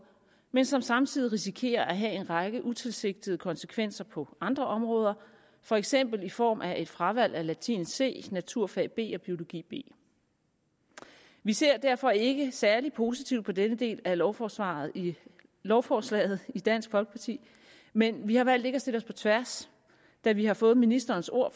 men som samtidig risikerer at have en række utilsigtede konsekvenser på andre områder for eksempel i form af et fravalg af latin c naturfag b og biologi b vi ser derfor ikke særlig positivt på denne del af lovforslaget i lovforslaget i dansk folkeparti men vi har valgt ikke at stille os på tværs da vi har fået ministerens ord